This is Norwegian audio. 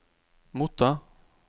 motta